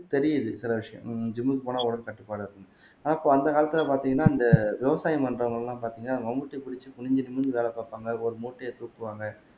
தெரியுது சில விஷயம் உம் ஜிம்க்கு போனா உடல் கட்டுப்பாடு இருக்கும் ஆனா அப்போ அந்த காலத்துல பாத்தீங்கன்னா இந்த விவசாயம் பண்றவங்கெல்லாம் பாத்தீங்கன்னா மம்பட்டியை புடிச்சு குனிஞ்சு நிமிர்ந்து வேலை பாப்பாங்க ஒரு மூட்டையை தூக்குவாங்க